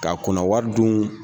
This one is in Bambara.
K'a kunna wari dun